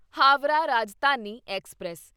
Howrah Rajdhani express